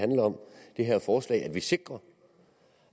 her forslag at vi sikrer